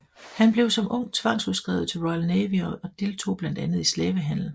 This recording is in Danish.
Han blev som ung tvangsudskrevet til Royal Navy og deltog blandt andet i slavehandel